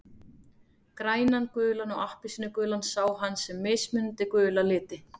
Grænan, gulan og appelsínugulan sá hann sem mismunandi gula liti.